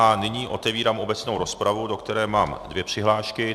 A nyní otevírám obecnou rozpravu, do které mám dvě přihlášky.